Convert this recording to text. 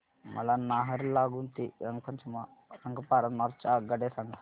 मला नाहरलागुन ते रंगपारा नॉर्थ च्या आगगाड्या सांगा